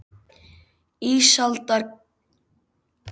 Ísaldarjöklar hafa mjög mótað landslag þar sem þeir fóru um.